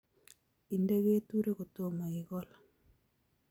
Inde keturek kotomo ikol